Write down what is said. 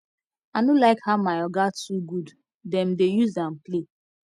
i no like how my oga too good dem dey use am play